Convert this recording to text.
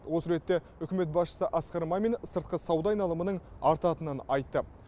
осы ретте үкімет басшысы асқар мамин сыртқы сауда айналымының артатынын айтты